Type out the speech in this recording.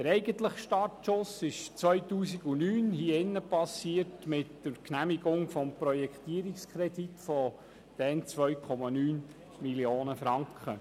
Der eigentliche Startschuss erfolgte 2009 hier im Grossen Rat mit der Genehmigung des Projektierungskredits von damals 2,9 Mio. Franken.